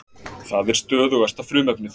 Það er stöðugasta frumefnið.